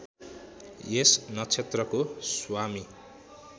यस नक्षत्रको स्वामी